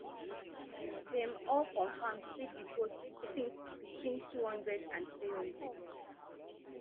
dem all confam say di boat sink between two hundred and three hundred